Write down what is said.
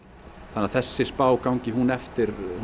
þannig að þessi spá gangi hún eftir